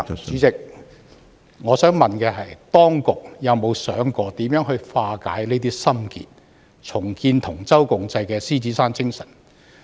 主席，我想問的是，當局有否想過如何化解這些心結，重建同舟共濟的獅子山精神？